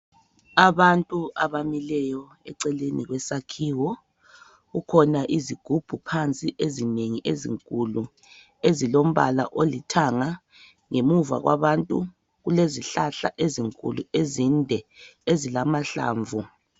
Abantu abamileyo eceleni kwesakhiwo kukhona izigubhu phansi ezinengi ezinkulu ezilombala olithanga ngemuva kwabantu kulezihlahla ezinkulu ezinde ezilamahlamvu.